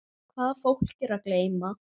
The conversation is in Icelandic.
Hvað er fólk að geyma?